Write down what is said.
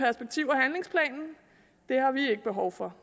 har vi ikke behov for